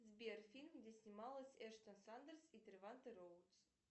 сбер фильм где снималась эштон сандерс и треванте роудс